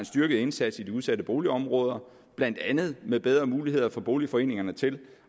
styrket indsats i de udsatte boligområder blandt andet med bedre muligheder for boligforeningerne til